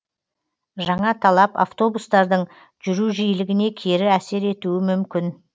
жаңа талап автобустардың жүру жиілігіне кері әсер етуі мүмкін